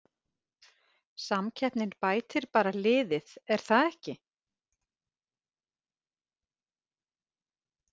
Samkeppnin bætir bara liðið er það ekki?